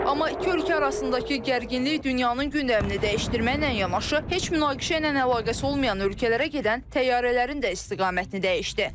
Amma iki ölkə arasındakı gərginlik dünyanın gündəmini dəyişdirməklə yanaşı, heç münaqişə ilə əlaqəsi olmayan ölkələrə gedən təyyarələrin də istiqamətini dəyişdi.